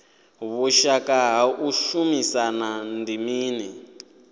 vhushaka ha u shumisana ndi mini